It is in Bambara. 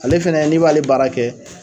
Ale fɛnɛ n'i b'ale baara kɛ